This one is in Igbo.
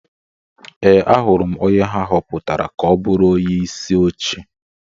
Ee, ahụrụ m onye ha họpụtara ka ọ bụrụ onyeisi oche.